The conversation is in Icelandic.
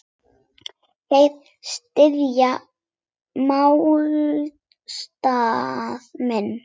Þeir styðja málstað minn.